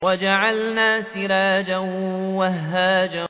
وَجَعَلْنَا سِرَاجًا وَهَّاجًا